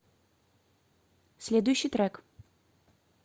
следующий трек